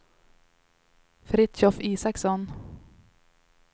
Fritiof Isaksson